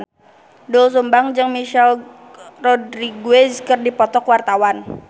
Doel Sumbang jeung Michelle Rodriguez keur dipoto ku wartawan